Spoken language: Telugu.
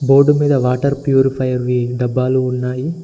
బోర్డు మీద వాటర్ ప్యూరిఫై వి డబ్బాలు ఉన్నాయి.